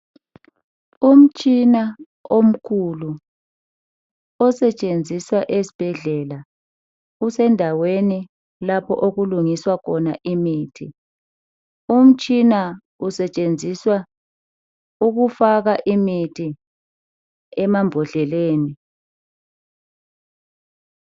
Umtshina omkhulu osetshenziswa esibhedlela .Usendaweni lapho okulungiswa khona imithi . Umtshina i usetshenziswa ukufaka imithi emambodleleni.